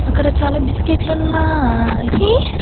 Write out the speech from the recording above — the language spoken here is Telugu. అక్కడ చాలా బిస్కెట్లున్నాయి .